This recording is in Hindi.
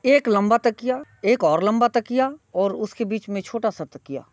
एक लम्बा तकिया एक और लम्बा तकिया और उसके बीच में छोटा सा तकिया।